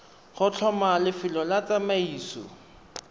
go tlhoma lefelo la tsamaiso